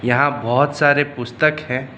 यहां बहोत सारे पुस्तक है।